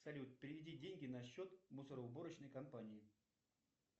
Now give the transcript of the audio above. салют переведи деньги на счет мусороуборочной компании